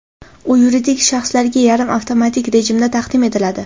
U yuridik shaxslarga yarim avtomatik rejimda taqdim etiladi.